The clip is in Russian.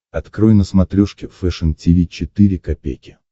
открой на смотрешке фэшн ти ви четыре ка